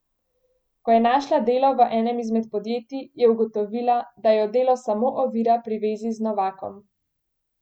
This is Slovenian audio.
Ko je našla delo v enem izmed podjetij, je ugotovila, da jo delo samo ovira pri vezi z Novakom.